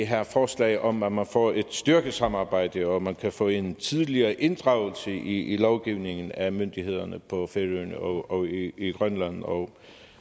her forslag om at man får et styrket samarbejde at man kan få en tidligere inddragelse i lovgivningen af myndighederne på færøerne og i grønland og